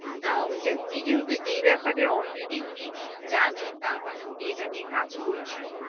না উনি যেহেতু এই ব্যাপারে already উনি জানেন তার মানে উনি এটা নিয়ে কাজ করছেন।